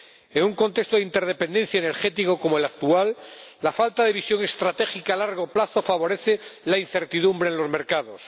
En un contexto de interdependencia energética como el actual, la falta de visión estratégica a largo plazo favorece la incertidumbre en los mercados.